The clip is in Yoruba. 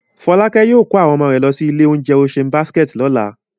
Fọ́lákẹ́ yóò kó àwọn ọmọ rẹ̀ lọ sí ilé-oúnjẹ Ocean Basket lọ́la.